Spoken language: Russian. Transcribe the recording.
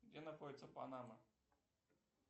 где находится панама